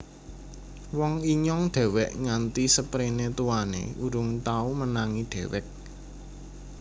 Wong Inyong dewek Nganti seprene tuane Urung tau Menangi Dewek